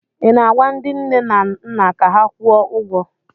ị na-agwa ndị nne na nna ka ha kwụọ ụgwọ?